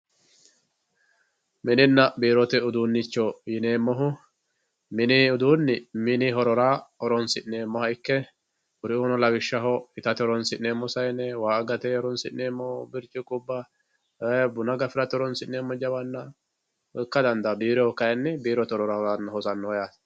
mininna biirote uduunnicho yineemmohu mini uduunni mini horora horoonsi'neemmoha ikke kuriuuno lawishshaho itate horoonsi'neemmo sayne waa agate horoonsi'neemmo birciqqubba buna gafate horoonsi'neemmo jawanna ikka dandaanno biiroyhu kayni biirote horora hosannoho yaate